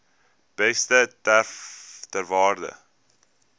beeste ter waarde